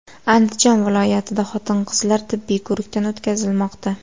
Andijon viloyatida xotin-qizlar tibbiy ko‘rikdan o‘tkazilmoqda.